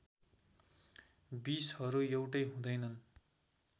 विषहरू एउटै हुँदैनन्